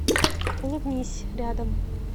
улыбнись рядом